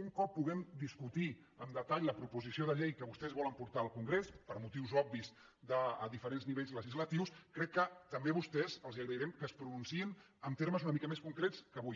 un cop puguem discutir amb detall la proposició de llei que vostès volen portar al congrés per motius obvis a diferents nivells legislatius crec que també a vostès els agrairem que es pronunciïn en termes una mica més concrets que avui